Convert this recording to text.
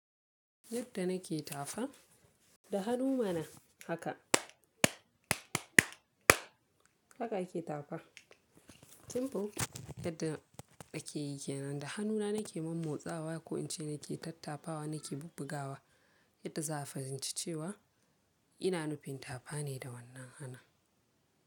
Yadda nake tafawa da hannu mana haka, haka ake tafawa. Timbu yadda ake yike nan da hannuna nake mommotsawa ko in ce nake tattapawa nake bubbugawa yadda za a fahimci cewa ina nufin tafa ne da wannan hannun.